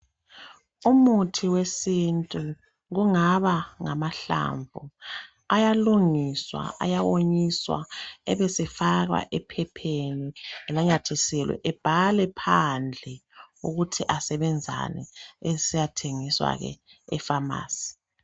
Umuthi wesintu kungaba ngamahlamvu ayalungiswa ayawonyiswa ebesefakwa ephepheni enamathiselwe ebhalwe phandle ukuthi asebenzani esesiyathengiswa ke efamasi.